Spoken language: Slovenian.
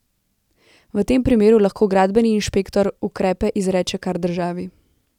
V tem primeru lahko gradbeni inšpektor ukrepe izreče kar državi.